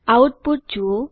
output જુઓ